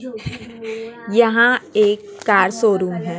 यहां एक car showroom हैं।